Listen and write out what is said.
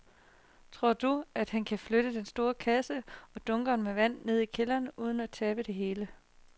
Tror du, at han kan flytte den store kasse og dunkene med vand ned i kælderen uden at tabe det hele?